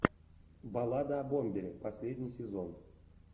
баллада о бомбере последний сезон